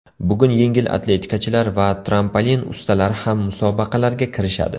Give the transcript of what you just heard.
Bugun yengil atletikachilar va trampolin ustalari ham musobaqalarga kirishadi.